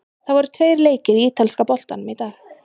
Það voru tveir leikir í ítalska boltanum í dag.